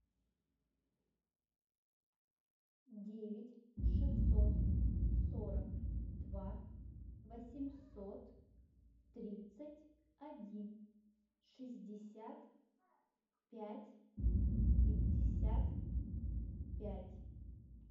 девять шестьсот сорок два восемьсот тридцать один шестьдесят пять пятьдесят пять